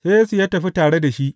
Sai Yesu ya tafi tare da shi.